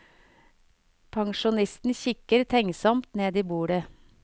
Pensjonisten kikker tenksomt ned i bordet.